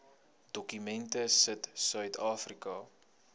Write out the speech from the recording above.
dokument sit suidafrika